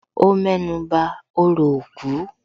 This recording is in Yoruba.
Ó mẹ́nuba òrò òkú